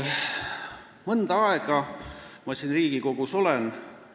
Mõnda aega olen siin Riigikogus olnud.